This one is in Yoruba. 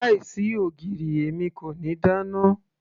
láì sí ogiri èmi kò ní dáná